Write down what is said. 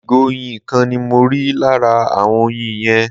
ìgò oyin kan ni mọ rí lára awon oyin yen